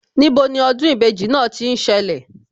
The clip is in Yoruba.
Níbo ni ọdún ìbejì náà tí ń ṣẹlẹ̀